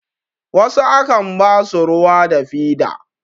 wasu a kan basu ruwa da fida